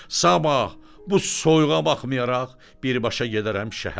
Sabah, bu soyuğa baxmayaraq birbaşa gedərəm şəhərə.